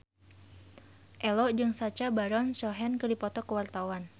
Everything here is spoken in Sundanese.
Ello jeung Sacha Baron Cohen keur dipoto ku wartawan